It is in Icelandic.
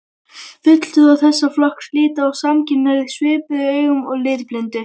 Fulltrúar þessa flokks líta á samkynhneigð svipuðum augum og litblindu.